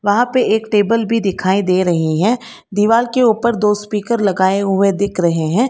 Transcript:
वहाँ पर एक टेबल भी दिखाई दे रहे हैं दीवार के ऊपर दो स्पीकर लगाए हुए दिख रहे हैं।